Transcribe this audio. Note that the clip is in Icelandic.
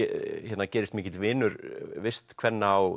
gerist mikill vinur vistkvenna á